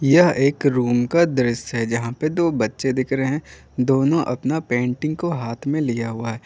यह एक रूम का दृश्य है जहा पे दो बच्चे दिख रहे है दोनो अपना पेंटिंग को हाथ में लिया हुआ है।